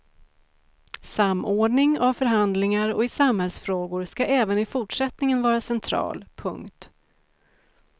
Samordning av förhandlingar och i samhällsfrågor ska även i fortsättningen vara central. punkt